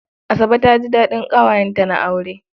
Asabe ta ji daɗin ƙawayenta na aure.